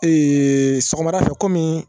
Ee sɔgɔmada fɛ komi